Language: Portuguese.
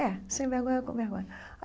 É, sem vergonha, com vergonha.